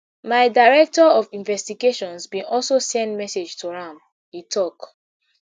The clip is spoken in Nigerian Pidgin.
my director of investigations bin also send message to am e tok